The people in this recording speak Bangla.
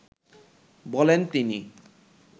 বলেন তিনি